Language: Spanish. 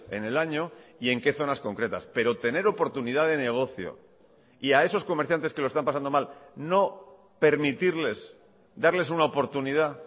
en el año y en qué zonas concretas pero tener oportunidad de negocio y a esos comerciantes que lo están pasando mal no permitirles darles una oportunidad